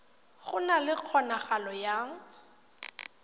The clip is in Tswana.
go na le kgonagalo ya